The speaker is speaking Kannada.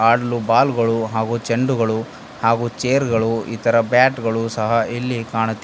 ಹಾಡಲು ಬಾಲ್ ಗಳು ಹಾಗೂ ಚೆಂಡುಗಳು ಹಾಗೂ ಚೇರ್ ಗಳು ಇತರ ಬ್ಯಾಟ್ ಗಳು ಸಹ ಇಲ್ಲಿ ಕಾಣು--